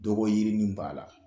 Dɔgɔ yirinin b'a la